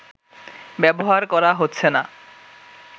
ব্যবহার করা হচ্ছে না